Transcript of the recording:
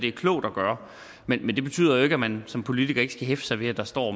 er klogt at gøre men men det betyder jo ikke at man som politiker ikke skal hæfte sig ved at der står